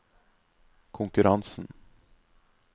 konkurransen